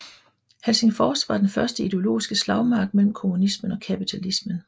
Helsingfors var den første ideologiske slagmark mellem kommunismen og kapitalismen